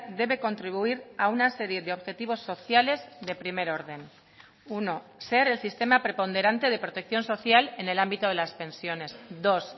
debe contribuir a una serie de objetivos sociales de primer orden uno ser el sistema preponderante de protección social en el ámbito de las pensiones dos